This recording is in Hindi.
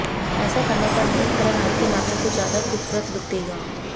ऐसा करने पर नेल कलर आपके हाथों को ज्यादा खूबसूरत लुक देगा